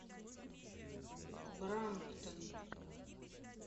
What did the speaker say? брамптон